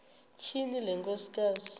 tyhini le nkosikazi